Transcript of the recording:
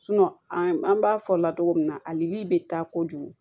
an b'a fɔ latogo min na alikilri bɛ taa kojugu